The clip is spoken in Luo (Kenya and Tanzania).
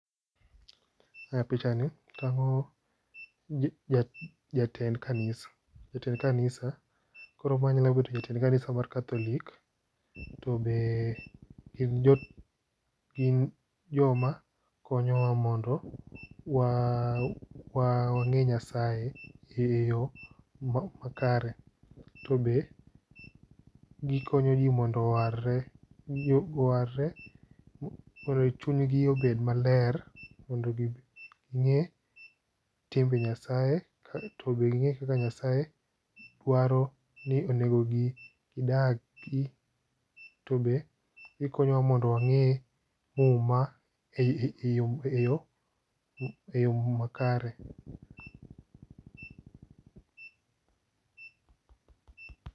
E pichani tang'o jatend kanisa. Jatend kanisa, koro ma nyalo bedo jatend kanisa mar katholi,,bende gin joma konyowa mondo wang'e Nyasaye e yo makare. To be gikonyo ji mondo owarre ,chunygi obed maler mondo ging'e timbe Nyasaye .To be ging'e kaka Nyasaye dwaro, ni onego gidagi to be gikonyowa mondo wang'e muma e yo makare.